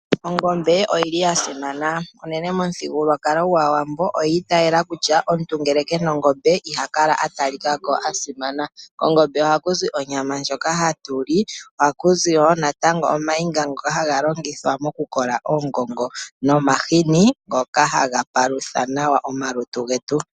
Ongombe oyi li ya simana unene momuthigululwakalo gwAawambo oyi itayela kutya omuntu ngele ke na ongombe ihaya kala atalika ko asimana. Kongombe ohaku zi onyama ndjono hatu li, ohaku zi wo omayinga ngoka haga longithwa moku kola ogo ohaku zi wo omahini ngoka haga palutha nawa omalutu getu.